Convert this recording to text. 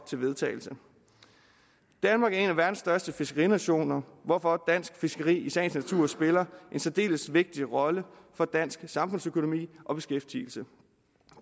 til vedtagelse danmark er en af verdens største fiskerinationer hvorfor dansk fiskeri i sagens natur spiller en særdeles vigtig rolle for dansk samfundsøkonomi og beskæftigelse